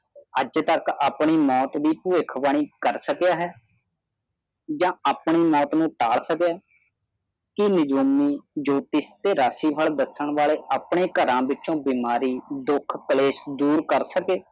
ਆਜ ਤਕ ਆਪਨੀ ਮੌਤ ਦੀ ਪਵਿਸ਼ਾਵਣੀ ਕਾਰ ਸਾਕਿਆ ਹੈ ਜਾ ਆਪਨੀ ਆਪਣੀ ਮੌਤ ਨੂੰ ਟਾਲ ਸਕੀਆਂ ਹੈ ਕਿ ਜੋਤਿਸ਼ ਤੇ ਰਚੀ ਫੈਲ ਦੱਸਣ ਵਾਲੇ ਆਪਣੇ ਘਰ ਵਿੱਚੋ ਬਿਮਾਰੀ ਦੁੱਖ ਕਲੇਸ਼ ਡੋਰ ਕਰ ਸਕੇ